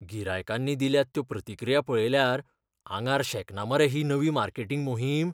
गिरायकांनी दिल्यात त्यो प्रतिक्रिया पळयल्यार आंगार शेकना मरे ही नवी मार्केटिंग मोहीम?